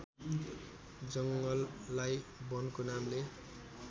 जङ्गललाई वनको नामले